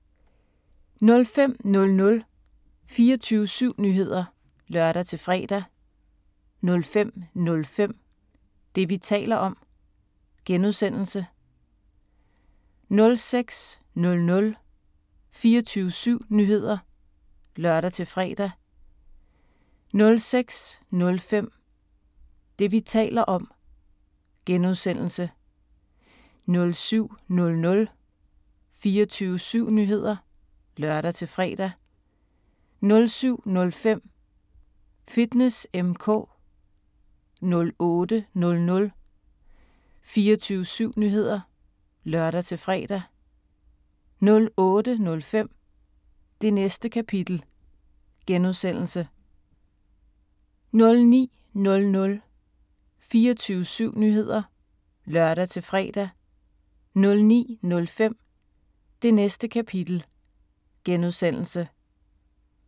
05:00: 24syv Nyheder (lør-fre) 05:05: Det, vi taler om (G) 06:00: 24syv Nyheder (lør-fre) 06:05: Det, vi taler om (G) 07:00: 24syv Nyheder (lør-fre) 07:05: Fitness M/K 08:00: 24syv Nyheder (lør-fre) 08:05: Det Næste Kapitel (G) 09:00: 24syv Nyheder (lør-fre) 09:05: Det Næste Kapitel (G)